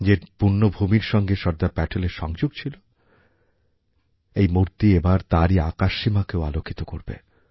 যে পুণ্যভূমির সঙ্গে সর্দার পটেলের সংযোগ ছিল এই মূর্তি এবার তারই আকাশসীমাকেও আলোকিত করবে